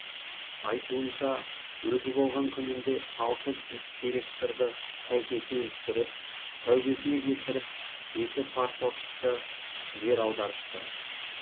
айтуынша өзі болған күнінде алты директорды тәйкесінен түсіріп тәубесіне келтіріп жеті парторгты жер аудартыпты